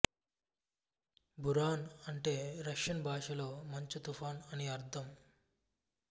బురాన్ అంటే రష్యను భాషలో మంచు తుపాను అని అర్థం